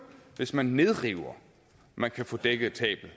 hvis man nedriver man kan få dækket tabet